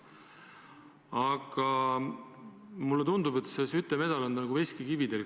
Aga mulle tundub, et see Skytte medal on teil nagu veskikivi kaelas.